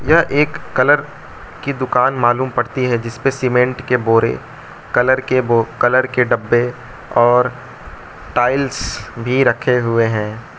यह एक कलर की दुकान मालूम पड़ती है जिसपे सीमेंट के बोरे कलर के डिब्बे और टाइल्स भी रखे हुए हैं।